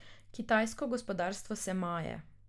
Kitajsko gospodarstvo se maje.